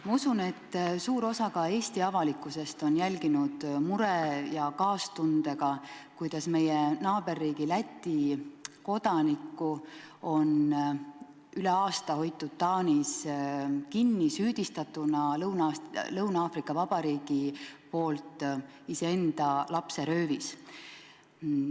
Ma usun, et suur osa ka Eesti avalikkusest on jälginud mure ja kaastundega, kuidas meie naaberriigi Läti kodanikku on üle aasta hoitud Taanis kinni süüdistatuna Lõuna-Aafrika Vabariigi poolt iseenda lapse röövis.